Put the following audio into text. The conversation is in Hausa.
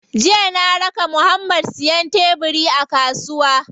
Jiya na raka Muhammad siyan tebiri a kasuwa.